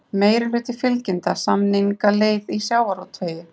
Meirihluti fylgjandi samningaleið í sjávarútvegi